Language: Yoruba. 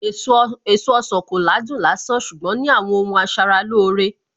Èso ọsàn kò ládùn lásán ṣùgbọ́n ní àwọn ohun asaralóore